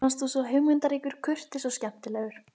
Mér fannst þú svo hugmyndaríkur, kurteis og skemmtilegur.